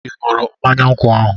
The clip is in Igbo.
Ị ṅụrụ mmanya nkwụ ahu?